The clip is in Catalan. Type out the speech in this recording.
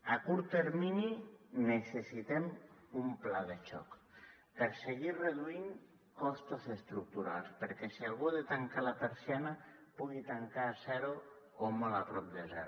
a curt termini necessitem un pla de xoc per seguir reduint costos estructurals perquè si algú ha de tancar la persiana pugui tancar a zero o molt a prop de zero